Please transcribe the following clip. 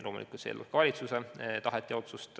Loomulikult eeldab see valitsuse tahet ja otsust.